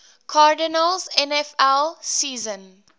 cardinals nfl season